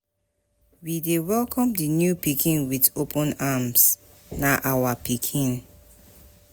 We dey welcome di new pikin wit open arms, na our pikin.